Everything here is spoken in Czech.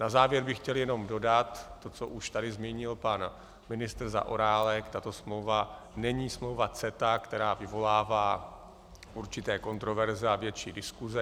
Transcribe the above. Na závěr bych chtěl jenom dodat to, co už tady zmínil pan ministr Zaorálek, tato smlouva není smlouva CETA, která vyvolává určité kontroverze a větší diskuse.